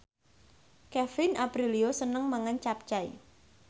Kevin Aprilio seneng mangan capcay